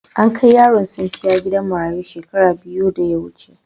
An kai Yaron sintiya gidan marayun shekara biyu da ya wuce.